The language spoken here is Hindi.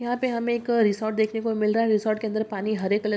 यहाँ पे हमे एक रिसोर्ट देखने को मिल रहा है रिसोर्ट के अंदर पानी हरे कलर ----